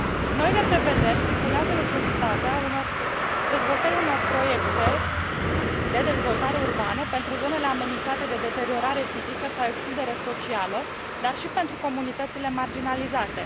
Noile prevederi stipulează necesitatea dezvoltării unor proiecte de dezvoltare urbană pentru zonele amenințate cu deteriorarea fizică sau excluderea socială, dar și pentru comunitățile marginalizate.